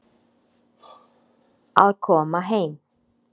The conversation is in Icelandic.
Að koma heim